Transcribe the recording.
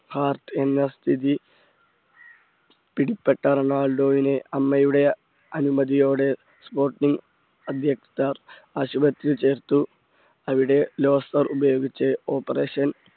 heart എന്ന സ്ഥിതി പിടിപ്പെട്ട റൊണാൾഡോയിന് അമ്മയുടെ അനുമതിയോടെ sporting അധികൃതർ ആശുപത്രിയിൽ ചേർത്തു അവിടെ losar ഉപയോഗിച്ച് operation